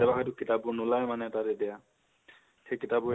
কেতিয়াবা হয়টো, কিতাপ বোৰ নোলাই মানে তাত এতিয়া, সেই কিতাপ্বোৰ